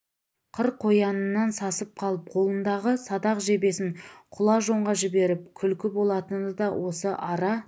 қыр қоянынан сасып қалып қолындағы садақ жебесін құла жонға жіберіп күлкі болатыны да осы ара